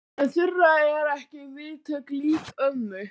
En Þura er ekki vitund lík ömmu.